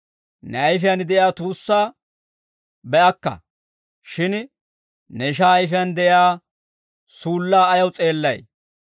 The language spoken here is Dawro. Ne ayfiyaan de'iyaa tuussaa be'akka; shin ne ishaa ayfiyaan de'iyaa suullaa ayaw s'eellay?